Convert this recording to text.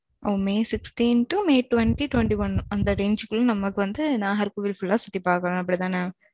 O may sixteen to may twenty twenty-one அந்த range குள்ள நமக்கு வந்து நாகர்கோவில் full ஆ சுத்தி பார்க்கணும் அப்படித்தானே?